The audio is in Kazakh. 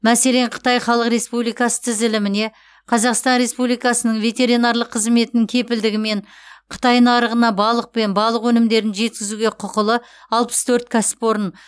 мәселен қытай халық республикасы тізіліміне қазақстан республикасы ветеринарлық қызметінің кепілдігімен қытай нарығына балық пен балық өнімдерін жеткізуге құқылы алпыс төрт кәсіпорын